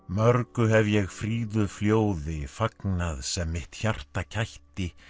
mörgu hef ég fríðu fagnað sem mitt hjarta kætti